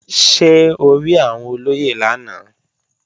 Ṣé o rí àwọn olóyè lánàá?